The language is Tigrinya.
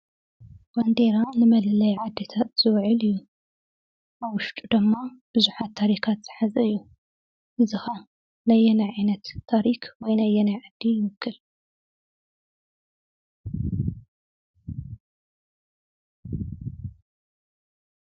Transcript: ባንዴራ ንመለለይ ዓዲታት ዝውዕል እዩ። ኣብ ውሽጡ ድማ ብዙሓት ታሪካት ዝሓዘ እዩ። እዚ ከዓ ናይ ኣየናይ ዓይነት ታሪኽን ወይ ናይ ኣየናይ ዓዲ ይውክል?